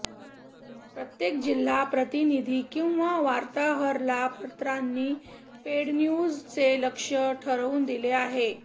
प्रत्येक जिल्हा प्रतिनिधी किंवा वार्ताहरला पत्रांनी पेडन्यूजचे लक्ष्य ठरवून दिले आहे